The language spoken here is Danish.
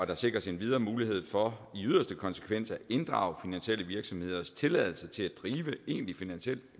der sikres endvidere mulighed for i yderste konsekvens at inddrage finansielle virksomheders tilladelse til at drive egentlig finansiel